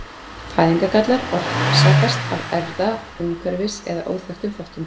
Fæðingargallar orsakast af erfða-, umhverfis- eða óþekktum þáttum.